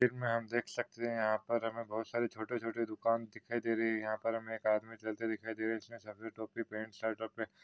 इसमे हम देख सकते है। यहा पर हमे बहुत सारे छोटी छोटी दुकाने दिखाई दे रही है। यहा पर हमे एक आदमी चलता दिखाई दे रहा है। जिसने सफ़ेद टोपी पेन्ट शर्ट और--